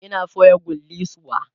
Ina soya kullisuwa